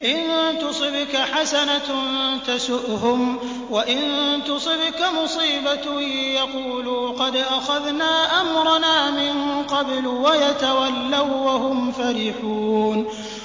إِن تُصِبْكَ حَسَنَةٌ تَسُؤْهُمْ ۖ وَإِن تُصِبْكَ مُصِيبَةٌ يَقُولُوا قَدْ أَخَذْنَا أَمْرَنَا مِن قَبْلُ وَيَتَوَلَّوا وَّهُمْ فَرِحُونَ